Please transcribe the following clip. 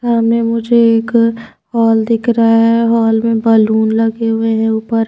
सामने मुझे एक हॉल दिख रहा है हॉल में बलून लगे हुए हैं ऊपर--